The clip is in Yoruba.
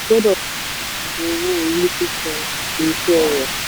gbọ́dọ̀ owó orí sísan àti iṣẹ́ rẹ̀.